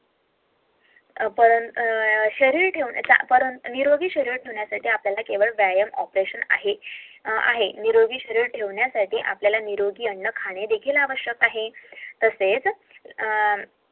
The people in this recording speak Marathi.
आपण निरोगी शरीर ठेवण्यासाठी आपल्याला निरोगी अन्न खान सुद्धा महत्वाचे आहे